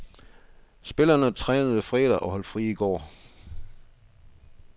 Spillerne trænede fredag, og holdt fri i går.